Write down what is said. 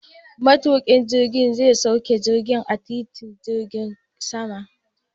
Matuƙin jirgin zai sauke jirgin a titin jirgin saman.